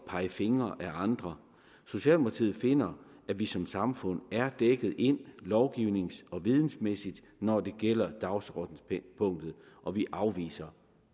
pege fingre ad andre socialdemokratiet finder at vi som samfund er dækket ind lovgivnings og vidensmæssigt når det gælder dagsordenspunktet og vi afviser